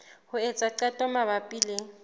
ho etsa qeto mabapi le